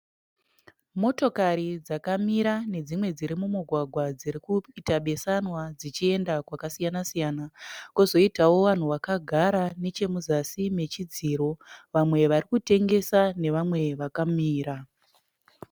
Motokari dzakamira nedzimwe dziri mumugwagwa dzirikuita besanwa dzichienda kwakasiyana siyana. Kozoitawo vanhu vakagara nechemuzasi mechidziro. Vamwe varikutengesa nevamwe vakamira.